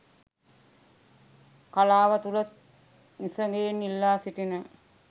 කලාව තුළ නිසගයෙන් ඉල්ලා සිටින